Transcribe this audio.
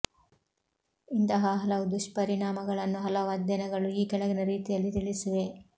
ಇಂತಹ ಹಲವು ದುಷ್ಪರಿಣಾಮಗಳನ್ನು ಹಲವು ಅಧ್ಯಯನಗಳು ಈ ಕೆಳಗಿನ ರೀತಿಯಲ್ಲಿ ತಿಳಿಸಿವೆ